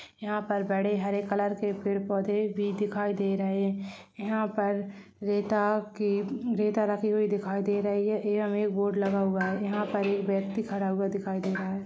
यहाँ पर बड़े हरे कलर के पेड़ पौधे भी दिखाई दे रहे है यहाँ पर रेता की रेता रखी हुई दिखाई दे रही है यहाँ एक बोर्ड लगा हुआ है यहाँ पर एक व्यक्ति खड़ा हुआ दिखाई दे रहा है।